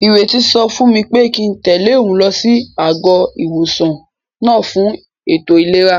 Ìrètí sọ fún mi pé kíi n tẹ̀lé òun lọ sí àgọ́-ìwòsàn náà fún ètò ìlera